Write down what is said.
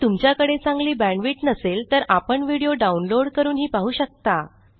जर तुमच्याकडे चांगली बॅण्डविड्थ नसेल तर आपण व्हिडिओ डाउनलोड करूनही पाहू शकता